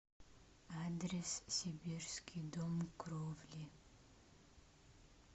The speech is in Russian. адрес сибирский дом кровли